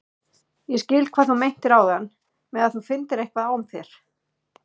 Ég skil hvað þú meintir áðan með að þú finndir eitthvað á þér.